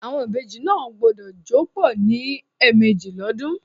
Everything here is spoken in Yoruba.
Àwon ìbejì náà gbúdọ̀ jó pọ̀ ní ẹ̀mẹ́jì l'ọ́dún.